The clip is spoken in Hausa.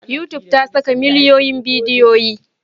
Youtube ta saka miliyoyin bidiyoyi.